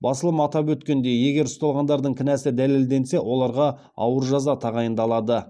басылым атап өткендей егер ұсталғандардың кінәсі дәлелденсе оларға ауыр жаза тағайындалады